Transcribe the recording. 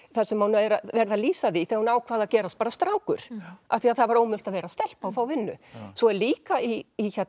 þar sem er verið að lýsa því þegar hún ákvað að gerast strákur af því það var ómögulegt að vera stelpa að fá vinnu svo er líka í